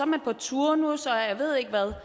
man på turnus og jeg ved ikke hvad